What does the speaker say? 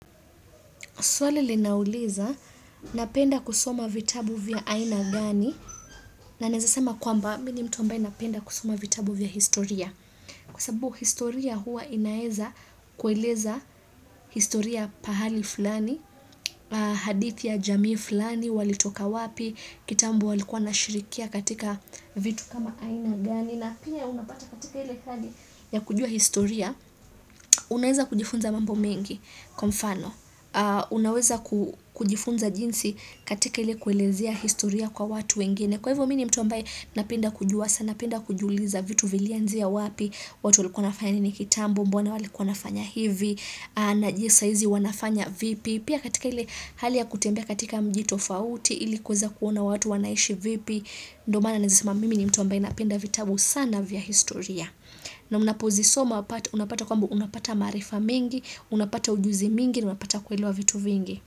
Swali linauliza, napenda kusoma vitabu vya aina gani, na na naeza sema kwamba mi ni mtu ambaye napenda kusoma vitabu vya historia. Kwa sababu historia hua inaeza kueleza historia pahali fulani, hadithi ya jamii fulani, walitoka wapi, kitambo walikua wanashirikia katika vitu kama aina gani. Na pia unapata katika ile hali ya kujua historia unaweza kujifunza mambo mengi kwa mfano unaweza kujifunza jinsi katika ile kuelezea historia kwa watu wengine kwa hivyo mi ni mtu ambaye napenda kujua sana napenda kujiuliza vitu vilianzia wapi watu walikuwa wanafanya nini kitambo mbona walikuwa wanafanya hivi na je saa hizi wanafanya vipi pia katika ile hali ya kutembea katika mji tofauti ilikuweza kuona watu wanaishi vipi ndo maana naezasema mimi ni mtu wamba inapenda vitabu sana vya historia. Na unapozisoma unapata kwamba unapata maarifa mingi, unapata ujuzi mingi, unapata kuelewa vitu vingi.